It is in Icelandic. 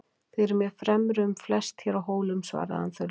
Þið eruð mér fremri um flest hér á Hólum, svaraði hann þurrlega.